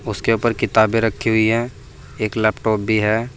उसके ऊपर किताबें रखी हुई हैं एक लैपटॉप भी है।